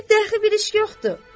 bir dəxi bir iş yoxdur.